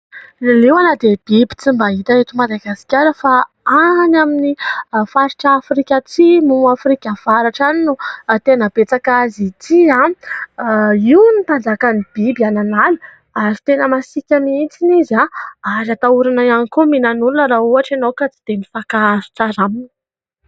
Ny liona dia biby tsy mba hita eto Madagasikara fa any amin'ny faritra Afrika atsimo, Afrika avaratra any no tena betsaka azy ity. Io hono no mpanjakan'ny biby any an'ala ary tena masiaka mihitsy izy ary atahorana ihany koa mihinana olona raha ohatra ianao ka tsy dia mifankahazo tsara aminy.